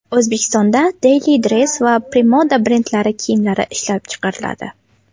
O‘zbekistonda Dailydress va Premoda brendlari kiyimlari ishlab chiqariladi.